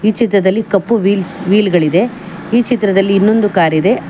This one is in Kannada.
ಚಿತ್ರದಲ್ಲಿ ಕಪ್ಪು ವೀಲ್ ಗಳಿದೆ ಈ ಚಿತ್ರದಲ್ಲಿ ಇನ್ನೊಂದು ಕಾರ್ ಇದೆ.